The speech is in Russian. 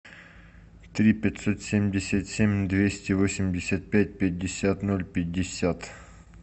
три пятьсот семьдесят семь двести восемьдесят пять пятьдесят ноль пятьдесят